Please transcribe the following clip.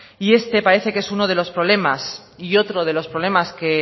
y este parece que es uno de los problemas y otro de los problemas que